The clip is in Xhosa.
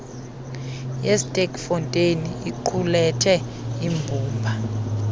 yesterkfontein iqulethe imbumba